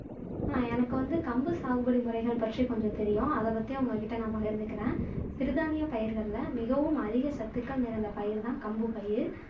ஆஹ் எனக்கு வந்து கம்பு சாகுபடி முறைகள் பற்றி கொஞ்சம் தெரியும் அதபத்தி உங்கக்கிட்ட நான் பகிர்ந்துக்குறேன் சிறுதானிய பயிர்கள்ல மிகவும் அதிக சத்துக்கள் நிறைந்த பயிர் தான் கம்பு பயிர்